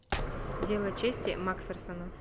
дело чести макферсона